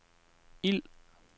ild